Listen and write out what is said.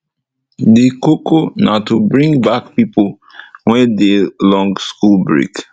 de koko na to bring back pipo wey dey long school break